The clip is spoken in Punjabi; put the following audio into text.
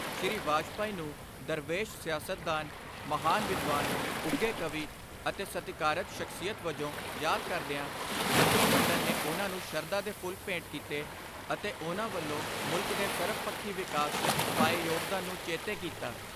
ਸ੍ਰੀ ਵਾਜਪਾਈ ਨੂੰ ਦਰਵੇਸ਼ ਸਿਆਸਤਦਾਨ, ਮਹਾਨ ਵਿਦਵਾਨ, ਉੱਘੇ ਕਵੀ ਅਤੇ ਸਤਿਕਾਰਤ ਸ਼ਖਸੀਅਤ ਵਜੋਂ ਯਾਦ ਕਰਦਿਆਂ ਮੰਤਰੀ ਮੰਡਲ ਨੇ ਉਨ੍ਹਾਂ ਨੂੰ ਸ਼ਰਧਾ ਦੇ ਫੁੱਲ ਭੇਟ ਕੀਤੇ ਅਤੇ ਉਨ੍ਹਾਂ ਵਲੋਂ ਮੁਲਕ ਦੇ ਸਰਬਪੱਖੀ ਵਿਕਾਸ ਵਿੱਚ ਪਾਏ ਯੋਗਦਾਨ ਨੂੰ ਚੇਤੇ ਕੀਤਾ।